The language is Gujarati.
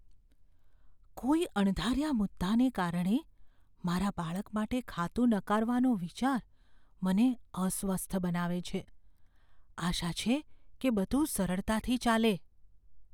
કોઈ અણધાર્યા મુદ્દાને કારણે મારા બાળક માટે ખાતું નકારવાનો વિચાર મને અસ્વસ્થ બનાવે છે, આશા છે કે બધું સરળતાથી ચાલે.